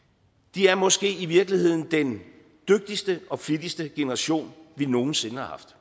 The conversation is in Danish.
er måske i virkeligheden den dygtigste og flittigste generation vi nogen sinde har haft